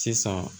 Sisan